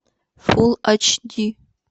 фул айч ди